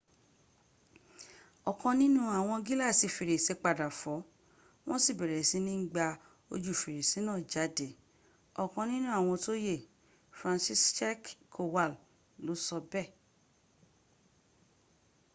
ọ̀kan nínú àwọn gíláàsì fèrèsé padà fọ́ wọ́n sì bẹ̀rẹ̀ sí ń gba ojù fèrèsé náà jáde,” ọ̀kan nínú àwọn tó yè franciszek kowal ló sọ bẹ́ẹ̀